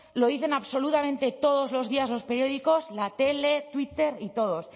lo dicen absolutamente todos los días los periódicos la tele twitter y todos